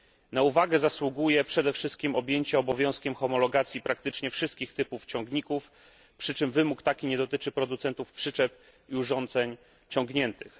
Na uwagę zasługuje przede wszystkim objęcie obowiązkiem homologacji praktycznie wszystkich typów ciągników, przy czym wymóg taki nie dotyczy producentów przyczep i urządzeń ciągniętych.